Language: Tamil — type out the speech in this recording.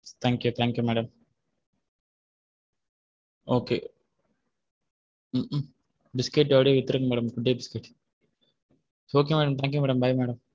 Thankyou thank you madam biscuit அப்படியே வித்துருங்க madam good day biscuit okay madam thank you madam bye madam okay.